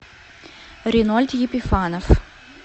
ринольд епифанов